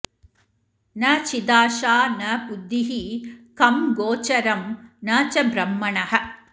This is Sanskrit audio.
न चिदाशा न बुद्धिः खं गोचरं न च ब्रह्मणः